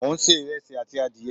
mo n se iresi ati adiye